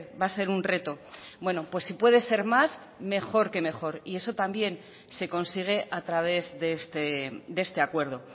va a ser un reto bueno pues si puede ser más mejor que mejor y eso también se consigue a través de este acuerdo